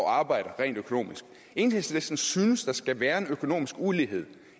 arbejder rent økonomisk enhedslisten synes der skal være en økonomisk ulighed